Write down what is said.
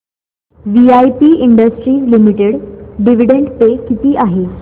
VIP industries limited dividend pay किती आहे